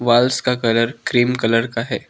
Waals का colour cream colour का है।